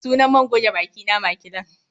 Sunan man goge bakina Maclean